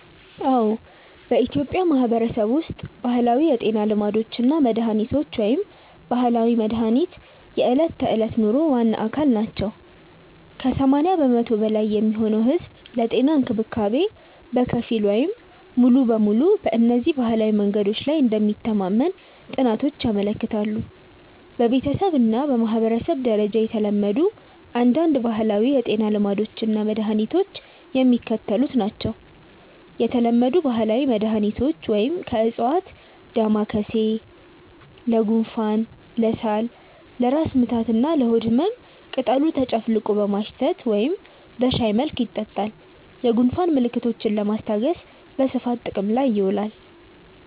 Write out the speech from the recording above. አዎ፣ በኢትዮጵያ ማህበረሰብ ውስጥ ባህላዊ የጤና ልማዶች እና መድሃኒቶች (ባህላዊ መድሃኒት) የዕለት ተዕለት ኑሮ ዋና አካል ናቸው። ከ80% በላይ የሚሆነው ህዝብ ለጤና እንክብካቤ በከፊል ወይም ሙሉ በሙሉ በእነዚህ ባህላዊ መንገዶች ላይ እንደሚተማመን ጥናቶች ያመለክታሉ። በቤተሰብ እና በማህበረሰብ ደረጃ የተለመዱ አንዳንድ ባህላዊ የጤና ልማዶች እና መድኃኒቶች የሚከተሉት ናቸው የተለመዱ ባህላዊ መድኃኒቶች (ከዕፅዋት) ደማካሴ (Ocimum lamiifolium): ለጉንፋን፣ ለሳል፣ ለራስ ምታት እና ለሆድ ህመም ቅጠሉ ተጨፍልቆ በማሽተት ወይም በሻይ መልክ ይጠጣል። የጉንፋን ምልክቶችን ለማስታገስ በስፋት ጥቅም ላይ ይውላል።